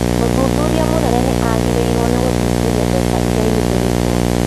Mũthuthuria mũnene nĩ agĩrĩirũo gũthuthuria mbeca iria ihũthirĩtwo